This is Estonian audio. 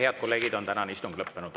Head kolleegid, tänane istung on lõppenud.